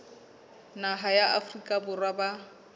naha ya afrika borwa ba